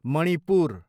Manipur